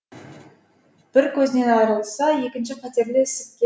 бірі көзінен айрылса екінші қатерлі ісікке